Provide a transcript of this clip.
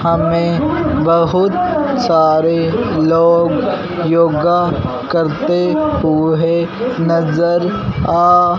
हमें बहुत सारे लोग योगा करते हुए नजर आ--